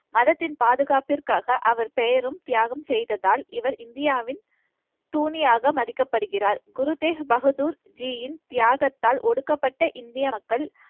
மதத்தின் பாதுகாப்பிற்காக, அவர் பெயரும் தியாகம் செய்ததால் இவர் இந்தியாவின் தூணியாக மதிக்கப்படுகிறார். குருதேக் பகதூர்ஜியின் தியாகத்தால் ஒடுக்கப்பட்ட இந்திய மக்கள்